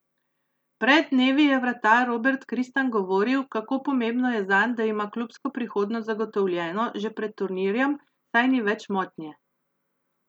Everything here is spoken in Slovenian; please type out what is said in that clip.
Pred dnevi je vratar Robert Kristan govoril, kako pomembno je zanj, da ima klubsko prihodnost zagotovljeno že pred turnirjem, saj ni več motnje.